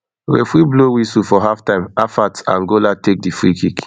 referee blow whistle for halftime afat angola take di freekick